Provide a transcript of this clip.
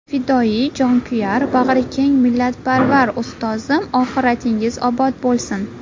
Fidoyi, jonkuyar, bag‘rikeng, millatparvar ustozim, oxiratingiz obod bo‘lsin.